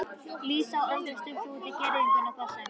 Lísa og Andri stukku út í girðingu þar sem